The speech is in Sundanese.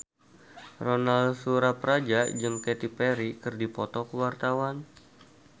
Ronal Surapradja jeung Katy Perry keur dipoto ku wartawan